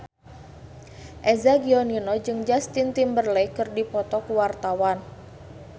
Eza Gionino jeung Justin Timberlake keur dipoto ku wartawan